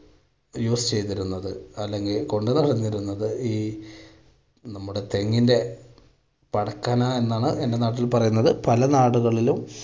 use ചെയ്തിരുന്നത് അല്ലെങ്കിൽ ഈ നമ്മുടെ തെങ്ങിൻ്റെ എന്നാണ് എന്റെ നാട്ടിൽ പറയുന്നത്. പല നാടുകളിലും